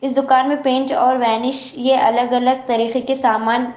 دکان میں پنچ اور ونش یہ الگ الگ طریقے کے سامان.